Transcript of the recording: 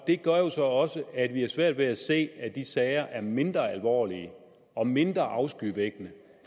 gør jo så også at vi har svært ved at se at de sager er mindre alvorlige og mindre afskyvækkende